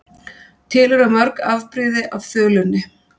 Til eru mörg afbrigði af þulunni.